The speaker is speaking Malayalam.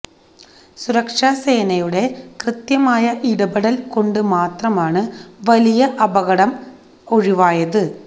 സുരക്ഷാ സേനയുടെ കൃത്യമായ ഇടപെടല് കൊണ്ട് മാത്രമാണ് വലിയ അപകടെ ഒഴിവായത്